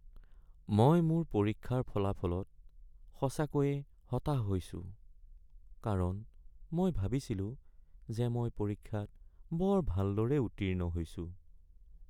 মই মোৰ পৰীক্ষাৰ ফলাফলত সঁচাকৈয়ে হতাশ হৈছো কাৰণ মই ভাবিছিলো যে মই পৰীক্ষাত বৰ ভালদৰে উত্তীৰ্ণ হৈছোঁ।